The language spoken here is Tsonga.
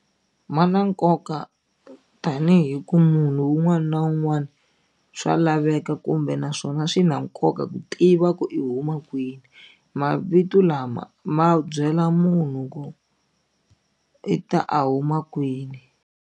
Ma na nkoka tanihi ku munhu wun'wani na wun'wani swa laveka kumbe naswona swi na nkoka ku tiva ku i huma kwini mavito lama ma byela munhu ku i ta a huma kwini.